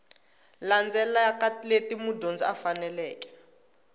landzelaka leti mudyondzi a faneleke